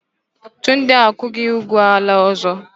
Tunde akwụghị ụgwọ ala ọzọ.